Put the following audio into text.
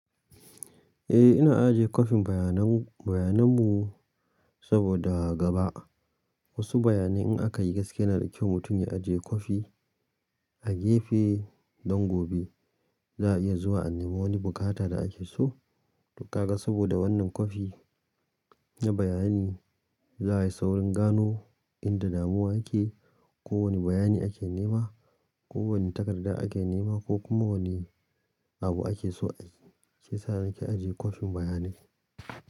Eh, ina aje kwafin bayanan, bayanan mu saboda gaba wasu bayanai in aka yi gaske yana da kyau mutum ya aje kwafi a gefe don gobe za a iya zuwa a nemo wani bukata da ake so. To kaga saboda wannan kwafi na bayani za ayi saurin gano inda damuwa yake ko wane bayani ake nema. Ko wane takarda ake nema ko kuma wannene abu ake so a yi. Shi yasa nike ajiye kwafin bayanai.